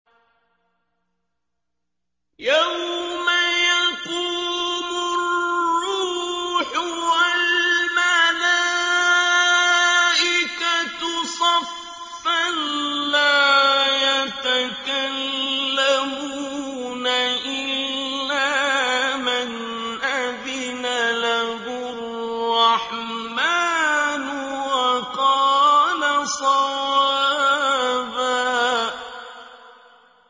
يَوْمَ يَقُومُ الرُّوحُ وَالْمَلَائِكَةُ صَفًّا ۖ لَّا يَتَكَلَّمُونَ إِلَّا مَنْ أَذِنَ لَهُ الرَّحْمَٰنُ وَقَالَ صَوَابًا